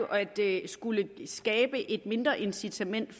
at det jo skulle skabe et mindre incitament